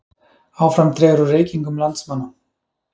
Áfram dregur úr reykingum landsmanna